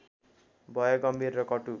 भए गम्भीर र कटु